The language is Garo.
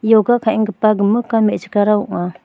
ioga ka·enggipa gimikan me·chikrara ong·a.